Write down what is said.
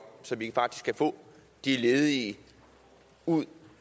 så vi faktisk kan få de ledige ud